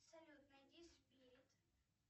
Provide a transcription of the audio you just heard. салют найди спирит